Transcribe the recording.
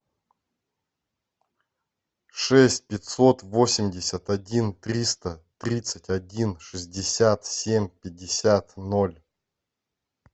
шесть пятьсот восемьдесят один триста тридцать один шестьдесят семь пятьдесят ноль